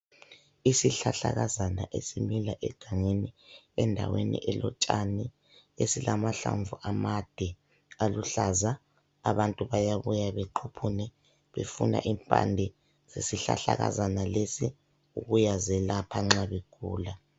Isihlahlakazana esimila egangeni endaweni elotshani esilamahlamvu amade aluhlaza abantu bayabuya bequphune befuna impande, isihlahlakazana lesi kuyazelapha nxa begula